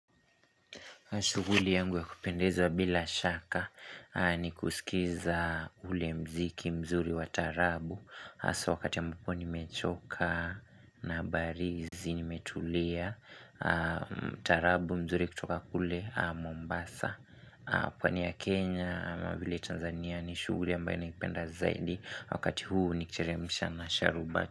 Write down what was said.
Shughuli yangu ya kupendeza bila shaka ni kusikiza ule mziki mzuri wa taarabu Hasa wakati ambapo nimechoka nabarizi nimetulia Taarabu mzuri kutoka kule Mombasa pwani ya Kenya ama vile Tanzania ni shuguli ambae naipenda zaidi Wakati huu nikiteremsha na sharubati.